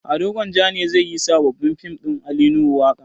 Ado gwanjan ne zai yi wa sabon fim ɗin ali nuhu waƙa